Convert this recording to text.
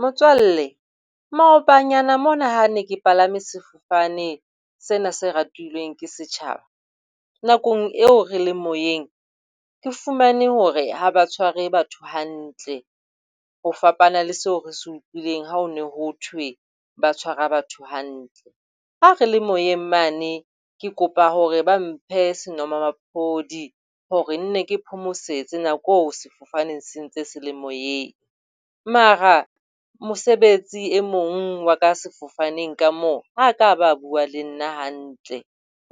Motswalle, maobanyana mona ha ne ke palame sefofane sena se ratilweng ke setjhaba nakong eo re le moyeng, ke fumane hore ha ba batho hantle ho fapana le seo re se utlwileng ha ho ne ho thwe ba tshwara batho hantle. Ha re le moyeng mane ke kopa hore ba mphe senomaphodi hore nne ke phomosetse nakong sefofane se ntse se le moyeng. Mara mosebetsi e mong wa ka sefofaneng ka moo ha a ka ba a bua le nna hantle.